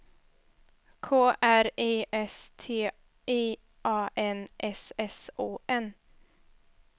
K R I S T I A N S S O N